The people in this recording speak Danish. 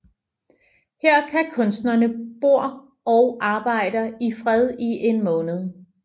Her kan kunstnerne bor og arbejder i fred i en måned